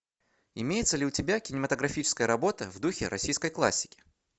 имеется ли у тебя кинематографическая работа в духе российской классики